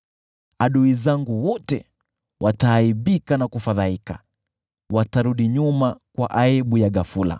Adui zangu wote wataaibika na kufadhaika, watarudi nyuma kwa aibu ya ghafula.